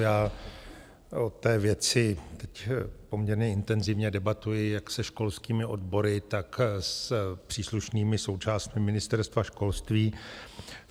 Já o té věci teď poměrně intenzivně debatuji jak se školskými odbory, tak s příslušnými součástmi Ministerstva školství.